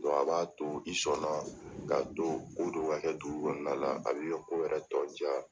a b'a to i sɔnna k'a to ko dɔw ka kɛ dugu kɔnɔna la a bɛ i ka ko yɛrɛ tɔ caya.